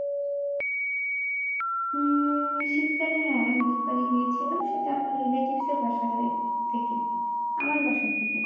উম শীতকালে হ্যাঁ নদীর পাড়ে গিয়েছিলাম সেটা আমার relatives এর বাসায় থেকে আমার বাসা থেকে না